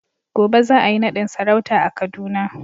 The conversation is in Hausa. gobe za a yi nadin sarauta a Kaduna.